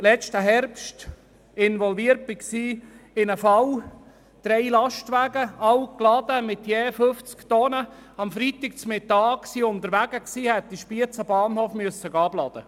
Letzten Herbst war ich in einen Fall involviert war, bei dem drei Lastwagen mit je 50 Tonnen beladen am Freitagmittag unterwegs waren, um im Bahnhof Spiez abzuladen.